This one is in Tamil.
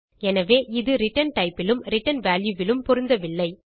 எனவே இது ரிட்டர்ன் டைப் லும் ரிட்டர்ன் வால்யூ லும் பொருந்தவில்லை